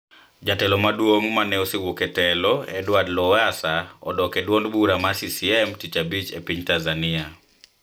Jatelo maduong` ma ne osewuok e telo Edward Lowassa odok e duond bura mar CCM Tich Abich e piny Tanzania